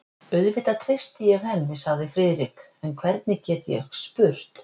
Auðvitað treysti ég henni sagði Friðrik, en hvernig get ég spurt?